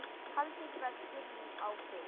Haldið vestur á Firði